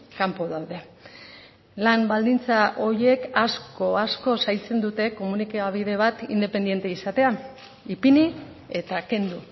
kanpo daude lan baldintza horiek asko zaintzen dute komunikabide bat independente izatea ipini eta kendu